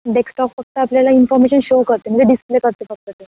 Desktop फक्त आपल्याला information show करते, म्हणजे डीसप्ले करते फक्त ते.